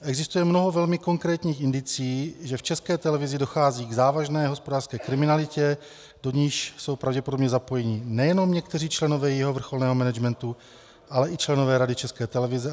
Existuje mnoho velmi konkrétních indicií, že v České televizi dochází k závažné hospodářské kriminalitě, do níž jsou pravděpodobně zapojeni nejenom někteří členové jejího vrcholného managementu, ale i členové Rady České televize.